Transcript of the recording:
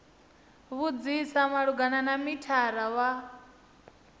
vhudzisa malugana na mithara wa